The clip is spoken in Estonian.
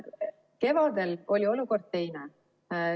Kevadel oli olukord teine.